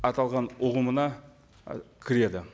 аталған ұғымына ы кіреді